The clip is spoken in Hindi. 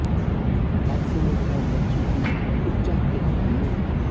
हादसे में घायल बच्ची की उपचार के दौरान मौत